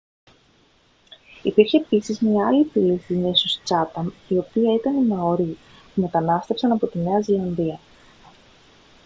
υπήρχε επίσης άλλη μια φυλή στις νήσους τσάταμ η οποία ήταν μαορί που μετανάστευσαν από τη νέα ζηλανδία